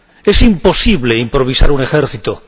¡Es imposible improvisar un ejército!